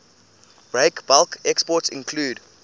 breakbulk exports include